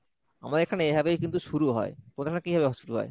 আমাদের এখানে এভাবেই কিন্তু শুরু হয়, তোমাদের ওখানে কিভাবে শুরু হয়?